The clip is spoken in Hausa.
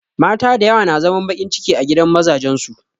Mata dayawa na zaman baƙin ciki a gidan mazajen su